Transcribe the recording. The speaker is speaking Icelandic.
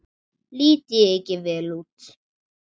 Lít ég ekki vel út?